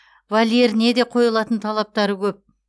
вольеріне де қойылатын талаптары көп